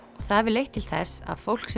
það hefur leitt til þess að fólk